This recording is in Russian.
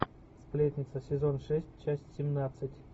сплетница сезон шесть часть семнадцать